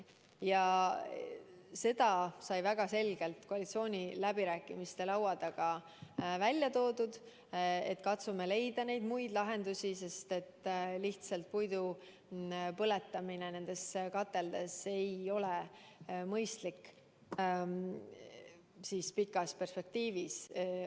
Ja sai väga selgelt koalitsiooniläbirääkimiste laua taga välja toodud, et katsume leida muid lahendusi, sest et lihtsalt puidu põletamine nendes kateldes ei ole pikas perspektiivis mõistlik.